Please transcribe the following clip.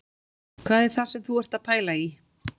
Hvað er það sem þú ert að pæla í